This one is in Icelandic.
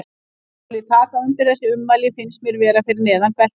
Að hann skuli taka undir þessi ummæli finnst mér vera fyrir neðan beltisstað.